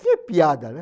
Que piada, né?